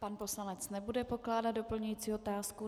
Pan poslanec nebude pokládat doplňující otázku.